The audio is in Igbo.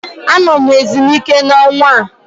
Anọ m ezumike n'ọnwa a